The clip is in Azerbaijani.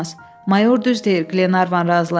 Mayor düz deyir, Qlenarvan razılaşdı.